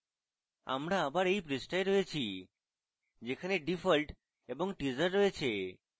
আবার আমরা এই পৃষ্ঠায় রয়েছি যেখানে default এবং teaser রয়েছে